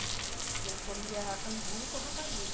A gente comia angu com rapadura.